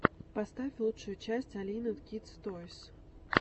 поставь лучшую часть алины кидс тойс